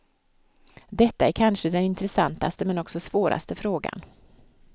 Detta är kanske den intressantaste men också svåraste frågan.